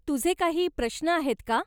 तुझे काही प्रश्न आहेत का?